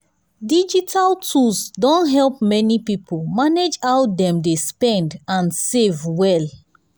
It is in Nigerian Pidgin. digital tools don help many people manage how dem dey spend and save well.